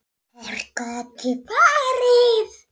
Hvert gat ég farið?